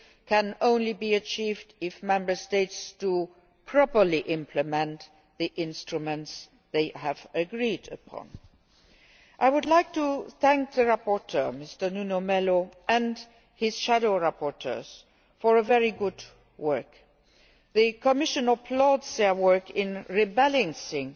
can only be achieved if Member States do properly implement the instruments they have agreed upon. I would like to thank the rapporteur, MrNuno Melo, and his shadow rapporteurs for their very good work. The Commission applauds their work in rebalancing